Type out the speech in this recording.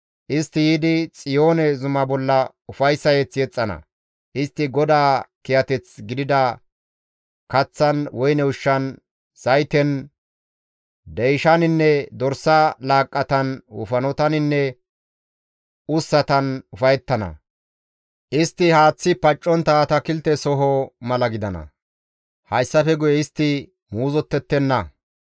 Istti yiidi Xiyoone zuma bolla ufayssa mazamure yexxana; istti GODAA kiyateth gidida kaththan, woyne ushshan, zayten, deyshaninne dorsa laaqqatan, wofanotaninne ussatan ufayettana; istti haaththi paccontta atakilte soho mala gidana; hayssafe guye istti muuzottettenna.